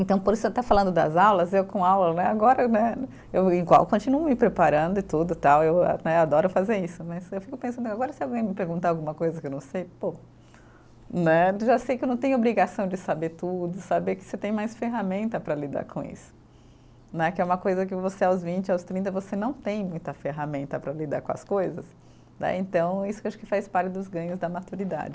Então, por isso, até falando das aulas, eu com aula, né, agora, né, eu igual, continuo me preparando e tudo e tal, eu né, adoro fazer isso, mas eu fico pensando, agora se alguém me perguntar alguma coisa que eu não sei, pô, né, já sei que eu não tenho obrigação de saber tudo, saber que você tem mais ferramenta para lidar com isso, né, que é uma coisa que você aos vinte, aos trinta, você não tem muita ferramenta para lidar com as coisas, né, então isso que eu acho que faz parte dos ganhos da maturidade.